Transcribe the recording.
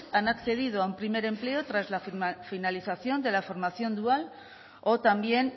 han accedido a un primer empleo tras la finalización de la formación dual o también